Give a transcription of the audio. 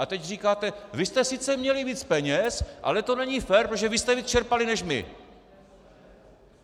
A teď říkáte: vy jste sice měli více peněz, ale to není fér, protože vy jste více vyčerpali než my.